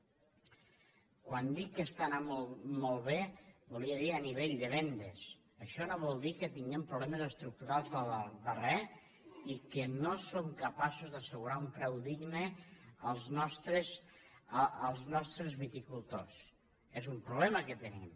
quan dic que està anant molt bé volia dir a nivell de vendes això no vol dir que tinguem problemes estructurals i que no som capaços d’assegurar un preu digne als nostres viticultors és un problema que tenim